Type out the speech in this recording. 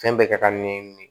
Fɛn bɛɛ kɛ ka nɛn